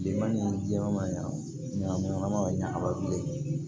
Bilenman ni jɛman ɲagaminen ka ɲa kaba bilen